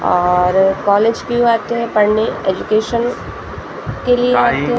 और कॉलेज क्यों आते हैं पढ़ने एजुकेशन्स के लिए। टाइम --